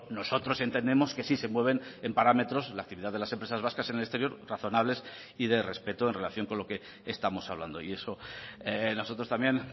nosotros entendemos que sí se mueven en parámetros la actividad de las empresas vascas en el exterior razonables y de respeto en relación con lo que estamos hablando y eso nosotros también